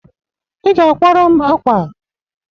I ga akwara m akwa!